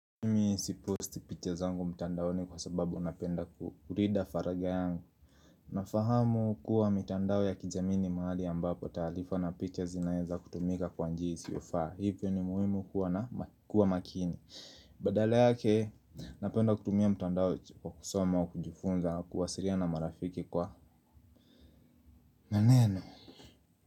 Nimi sipost picha zangu mtandaoni kwa sababu napenda kurida faraga yangu Nafahamu kuwa mitandao ya kijamii ni mahali ambapo taalifa na picha zinaeza kutumika kwa njia isiyofaa. Hivyo ni muhimu kuwa makini Badala yake napenda kutumia mtandao kwa kusoma au kujifunza kuwasiriana marafiki na neno.